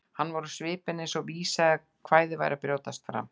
Hann var á svipinn eins og vísa eða kvæði væri að brjótast fram.